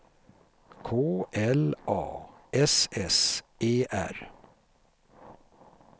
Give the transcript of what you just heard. K L A S S E R